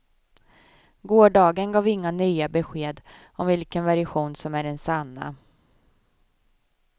Gårdagen gav inga nya besked om vilken version som är den sanna.